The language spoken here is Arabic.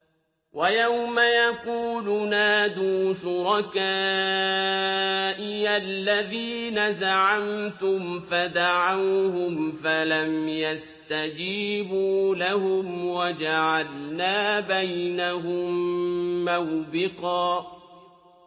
وَيَوْمَ يَقُولُ نَادُوا شُرَكَائِيَ الَّذِينَ زَعَمْتُمْ فَدَعَوْهُمْ فَلَمْ يَسْتَجِيبُوا لَهُمْ وَجَعَلْنَا بَيْنَهُم مَّوْبِقًا